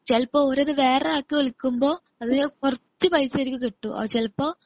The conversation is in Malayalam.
ചിലപ്പോൾ അവരത് വേറൊരാൾക്ക് വിൽക്കുമ്പോ അതിൽ കുറച്ചു പൈസ ആയിരിക്കും കിട്ടുക ചിലപ്പോ